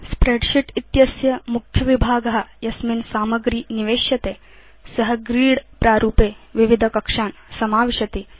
spreadsheet इत्यस्य मुख्यविभाग यस्मिन् सामग्री निवेश्यते स ग्रिड् प्रारूपे विविधकक्षान् समाविशति